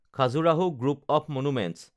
Khajuraho group of monuments